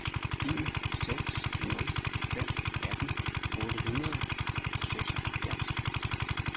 en seks nul fem atten otte hundrede og seksoghalvfems